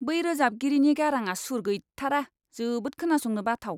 बै रोजाबगिरिनि गाराङा सुर गैथारा। जोबोद खोनासंनो बाथाव।